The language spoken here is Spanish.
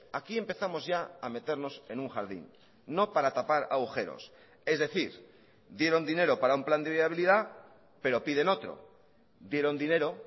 aquí empezamos ya a meternos en un jardín no para tapar agujeros es decir dieron dinero para un plan de viabilidad pero piden otro dieron dinero